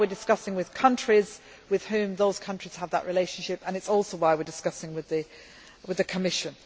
That is why we are in discussion with countries with whom those countries have that relationship, and it is also why we are in discussion with the Commission.